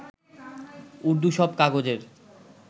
উর্দু সব কাগজের